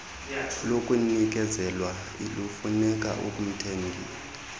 lokunikezelwa lufuneka umthengi